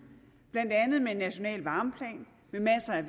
blandt andet med en national varmeplan med masser af